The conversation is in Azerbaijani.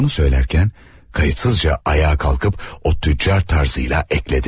Onu söylərkən kayıtsızca ayağa kalkıp o tüccar tarzıyla əklədi.